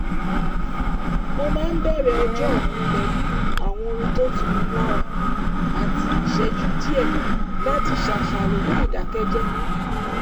mo máa ń bẹ̀rẹ̀ ọjọ́ mi pẹ̀lú àwọn orin tó ń tuni lára àti ìṣẹ́jú díẹ̀ láti ṣàṣàrò ní ìdákẹ́jẹ́